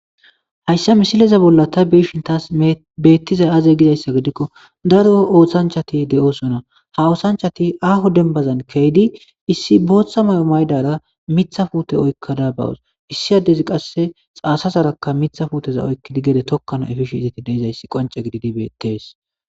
Hayssa misileza bolla ta biishin taas beettiza aze gidayssa gidikko daro oothanchati de7osona ha oosanchati aaho denbazan keydi issi booththa may7o maydara mitha fute oykkada bawos issi addezi qasse xaasa saraka mitha fuuteza oykkidi gede tokkano efishe izati deizayssi qonce gididi betees.